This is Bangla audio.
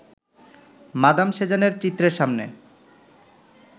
মাদাম সেজানের চিত্রের সামনে